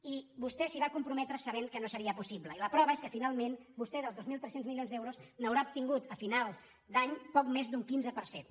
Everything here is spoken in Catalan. i vostè s’hi va comprometre sabent que no seria pos·sible i la prova és que finalment vostè dels dos mil tres cents mi·lions d’euros n’haurà obtingut a final d’any poc més d’un quinze per cent